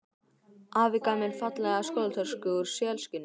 Afi gaf mér fallega skólatösku úr selskinni.